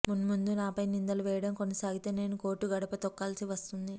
మున్ముందు నాపై నిందలు వేయడం కొనసాగితే నేను కోర్టు గడప తొక్కాల్సి వస్తుంది